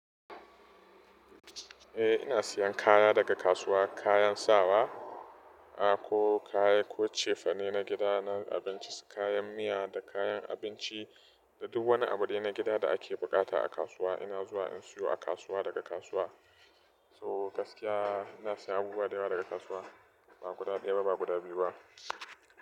Eh ina siyan kaya daga kasuwa kayan sawa, a ko kaya ko cefane na gida na abinci, kayan miya da kayan abinci da duk wani abu dai na gida da ake bukata a kasuwa ina zuwa in siyo a kasuwa daga kasuwa. So gaskiya ina siya abubuwa da yawa daga kasuwa ba guda ɗaya ba ba guda biyu ba.